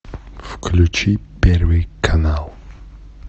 включи первый канал